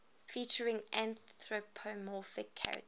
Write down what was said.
featuring anthropomorphic characters